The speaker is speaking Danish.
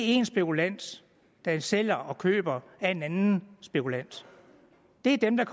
én spekulant der sælger til og køber af en anden spekulant det er dem der